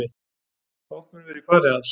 Fátt mun vera í fari hans